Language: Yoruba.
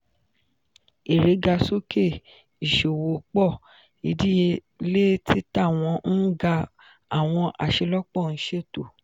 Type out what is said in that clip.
ere ga soke iṣowo pọ idiyele tita wọn ń ga awọn aṣelọpọ ń ṣeto.